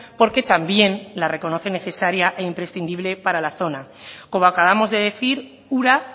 porque también la reconoce necesaria e imprescindible para la zona como acabamos de decir ura